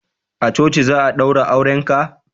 a coci za a daura auren ka?